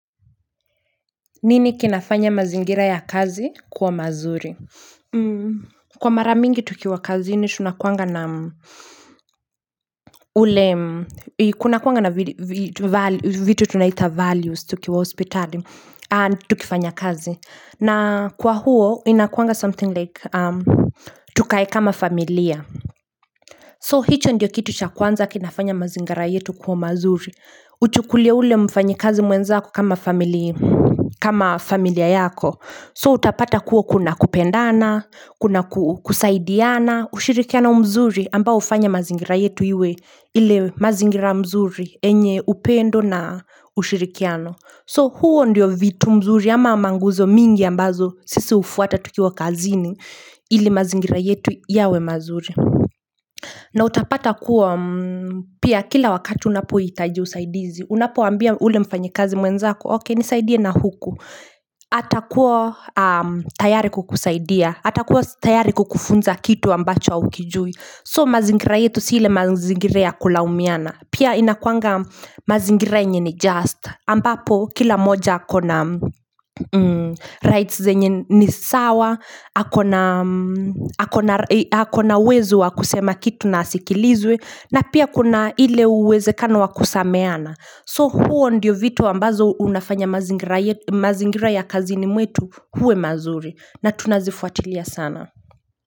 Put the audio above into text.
Nini kinafanya mazingira ya kazi kuwa mazuri Kwa mara yingi tukiwa kazini tunakuwaga na Kuna kuanga na vitu tunaita values tukiwa hospital and tukifanya kazi na kwa huo inakuanga something like tukae kama familia So hicho ndiyo kitu cha kwanza kinafanya mazingira yetu kuwa mazuri Uchukulie ule mfanyakazi mwenzako kama familia yako So utapata kua kuna kupendana, kuna kusaidiana ushirikiano mzuri ambao hufanya mazingira yetu iwe ile mazingira mzuri enye upendo na ushirikiano So huo ndiyo vitu mzuri ama manguzo mingi ambazo sisi ufuata tukiwa kazini ile mazingira yetu yawe mazuri na utapata kuwa pia kila wakati unapohitaji usaidizi. Unapo ambia ule mfanyakazi mwenzako, okay nisaidia na huku. Atakuwa tayari kukusaidia. Atakuwa tayari kukufunza kitu ambacho haukijui. So mazingira yetu sio mazingira ya kulaumiana. Pia inakuanga mazingira yenyewe just ambapo kila moja ako na rights zenye nisawa Hakona wezo wakusema kitu na asikilizwe na pia kuna ile uwezekano wakusameana So huo ndiyo vitu ambazo unafanya mazingira ya kazini mwetu huwe mazuri na tunazifuatilia sana.